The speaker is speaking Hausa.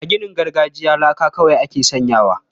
A ginin gargajiya laka kawai ake sanyawa.